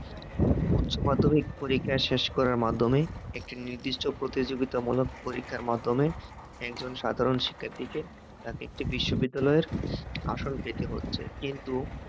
উচ্চমাধ্যমিক পরীক্ষা শেষ করার মাধ্যমে, একটি নির্দিষ্ট প্রতিযোগিতামূলক পরীক্ষার পরীক্ষার মাধ্যমে, একজন সাধারণ শিক্ষার্থীকে তাকে একটি বিশ্ববিদ্যালয়ের আসন পেতে হচ্ছে কিন্তু,